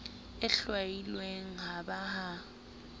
e hlwailweng ha ba ha